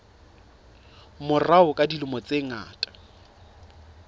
morao ka dilemo tse ngata